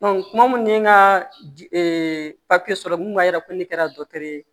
kuma mun ye n ka papiye sɔrɔ min b'a yira ko ne kɛra dɔkitɛri